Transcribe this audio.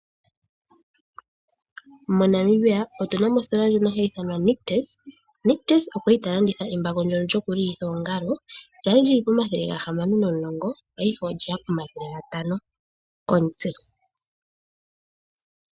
MoNamibia otuna mo ositola ndjono hayi ithanwa Nictus. Nictus okwali ta landitha embako ndjono lyoku lilitha oongalo, lyali lyili pomathele gahamano nomulongo, paife olyeya pomathele gatano komutse.